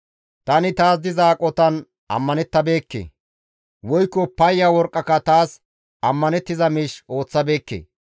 «Tani taas diza aqotan ammanettabeekke. Woykko payya worqqaka taas ammanettiza miish ooththabeekke.